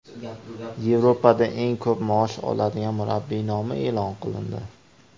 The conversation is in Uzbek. Yevropada eng ko‘p maosh oladigan murabbiy nomi e’lon qilindi.